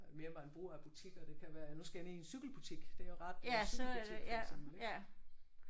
Mere man bruger af butikker det kan være nu skal jeg ned i en cykelbutik det er jo ret øh cykelbutik for eksempel